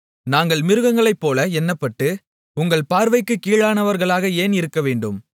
நாங்கள் மிருகங்களைப்போல எண்ணப்பட்டு உங்கள் பார்வைக்குக் கீழானவர்களாக ஏன் இருக்கவேண்டும்